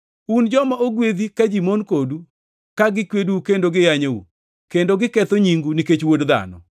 Un joma ogwedhi ka ji mon kodu, ka gikwedou kendo giyanyou, kendo giketho nyingu, nikech Wuod Dhano.